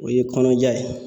O ye kɔnɔja ye.